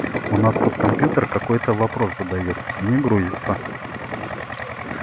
у нас тут компьютер какой-то вопрос задаёт и не грузится